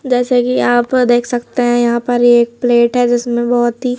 जैसे कि आप देख सकते हैं यहां पर एक प्लेट है जिसमें बहोत ही--